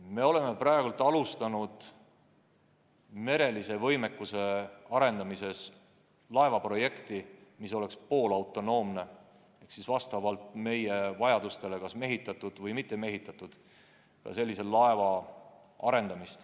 Me oleme ka alustanud merelise võimekuse arendamise raames sellise laeva väljatöötamist, mis oleks poolautonoomne ehk siis vastavalt vajadustele kas mehitatud või mitte mehitatud.